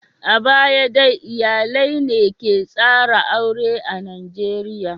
A baya dai iyalai ne ke tsara aure a Najeriya.